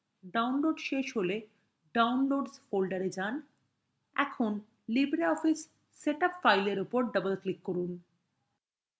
downloads শেষ হলে downloads folder যান when libreoffice setup file উপর double click করুন